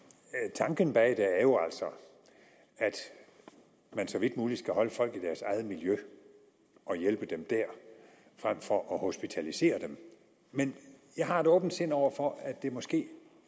tanken bag det er jo altså at man så vidt muligt skal holde folk i deres eget miljø og hjælpe dem der frem for at hospitalisere dem men jeg har et åbent sind over for at det måske